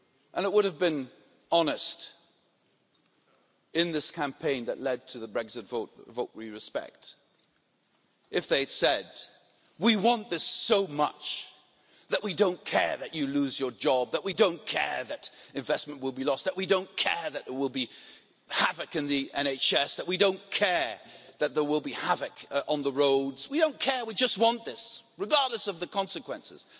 It would have been honest, in this campaign that led to the Brexit vote which we respect if they'd said We want this so much that we don't care that you lose your job, we don't care that investment will be lost, we don't care that there will be havoc in the NHS, we don't care that there will be havoc on the roads. We don't care, we just want this, regardless of the consequences.'